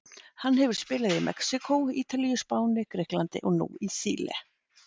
Hann hefur spilað í Mexíkó, Ítalíu, Spáni, Grikklandi og nú í Síle.